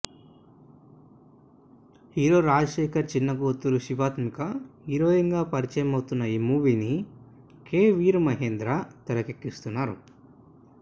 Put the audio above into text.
hero Rajasekhar చిన్న కూతురు Shivathmika heroine గా పరిచయమవుతున్న ఈ మూవీని కే వి ఆర్ మహేంద్ర తెరకెక్కిస్తున్నారు